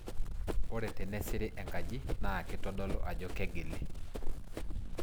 Ore tenesiri enkaji naa kitodolu ajo kegili.